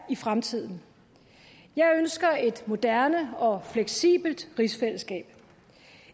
i fremtiden jeg ønsker et moderne og fleksibelt rigsfællesskab